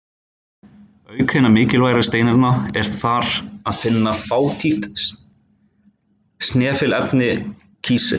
Auk hinna mikilvægari steinefna er þar að finna fátítt snefilefni, kísil.